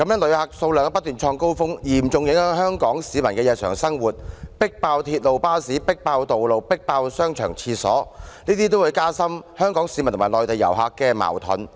旅客數量不斷創高峰，嚴重影響香港市民的日常生活，亦"迫爆"鐵路、巴士、道路、商場、洗手間，這些都會加深香港市民和內地遊客的矛盾。